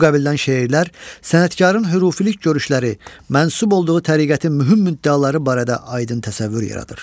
Bu qəbildən şeirlər sənətkarın hürufilik görüşləri, mənsub olduğu təriqətin mühüm müddəaları barədə aydın təsəvvür yaradır.